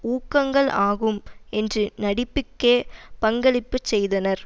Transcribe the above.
ஊகங்கள் ஆகும் என்று நடிப்புக்கே பங்களிப்பு செய்தனர்